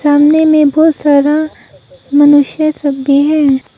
सामने में बहुत सारा मनुष्य सब भी है।